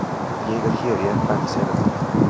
Ég er hér í embættiserindum.